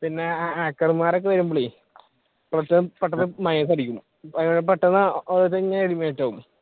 പിന്നെ hacker മാരൊക്കെ വരുമ്പളെ കുറച്ചു പെട്ടെന്നു